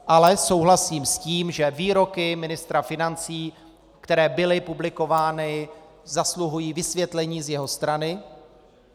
Ale souhlasím s tím, že výroky ministra financí, které byly publikovány, zasluhují vysvětlení z jeho strany.